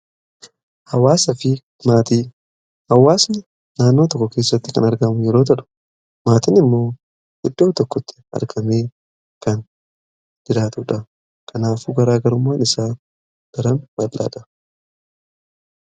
hawaasa fi maatii. hawaasni naanoo tokko keessatti kan argamu yoo ta'u maatiin immoo iddoo tokkotti argamee kan jiraatuudha kanaafuu garaa garummaan isaa daram bal'aadha.